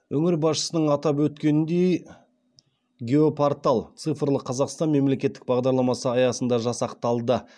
өңір басшысының атап өткеніндей геопортал цифрлы қазақстан мемлекеттік бағдарламасы аясында жасақталды